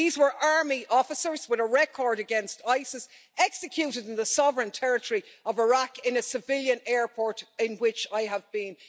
These were army officers with a record against ISIS, executed in the sovereign territory of Iraq, in a civilian airport in which I have been.